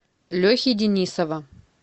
лехи денисова